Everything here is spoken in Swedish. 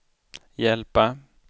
hjälpa